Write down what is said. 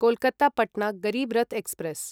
Kolkata Patna Garib Rath express